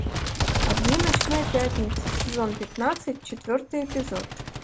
огни ночной пятницы сезон пятнадцать четвертый эпизод